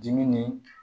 Dimi ni